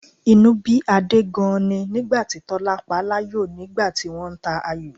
Inú bí Adé gan-an ni nígbà tí Tọ́lá paláyò nígbà tí wọ́n ń ta ayò